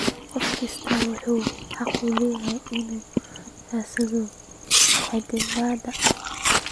Qof kastaa wuxuu xaq u leeyahay inuu raadsado caddaalad.